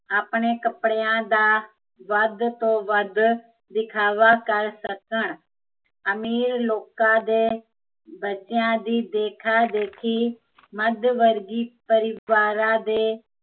ਆਪਣੇ ਕੱਪੜਿਆ ਦਾ, ਵੱਧ ਤੋਂ ਵੱਧ, ਦਿਖਾਵਾ ਕਰ ਸਕਣ ਅਮੀਰ ਲੋਕਾਂ ਦੇ, ਬੱਚਿਆ ਦੀ ਦੇਖਾ ਦੇਖੀ, ਮੱਧਵਰਗੀ ਪਰਿਵਾਰਾਂ ਦੇ